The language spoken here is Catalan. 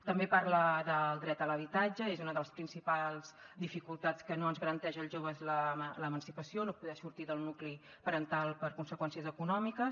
també parla del dret a l’habitatge és una de les principals dificultats que no ens garanteix als joves l’emancipació no poder sortir del nucli parental per conseqüències econòmiques